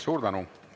Suur tänu!